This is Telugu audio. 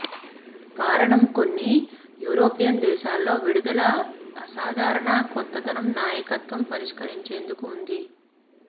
కారణం కొన్ని యూరోపియన్ దేశాల్లో విడుదల అసాధారణ కొత్తదనం నాయకత్వం పరిష్కరించేందుకు ఉంది